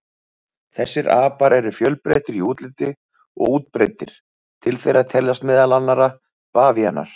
Þessir apar eru fjölbreyttir í útliti og útbreiddir, til þeirra teljast meðal annarra bavíanar.